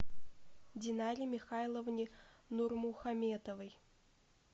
динаре михайловне нурмухаметовой